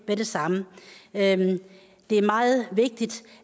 nemlig